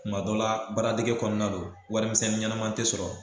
Kuma dɔla baaradege kɔnɔna na don warimisɛnnin ɲɛnɛman te sɔrɔ